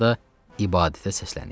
Sonra da ibadətə səsləniş.